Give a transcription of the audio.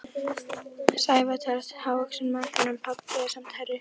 Sævar telst hávaxinn maður en pabbi er samt hærri.